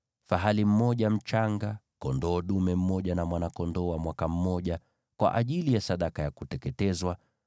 fahali mmoja mchanga, kondoo dume mmoja na mwana-kondoo dume mmoja wa mwaka mmoja, kwa ajili ya sadaka ya kuteketezwa;